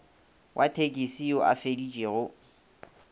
wa thekisi yo a feditšego